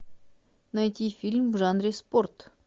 найти фильм в жанре спорт